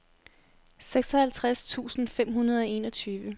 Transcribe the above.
seksoghalvtreds tusind fem hundrede og enogtyve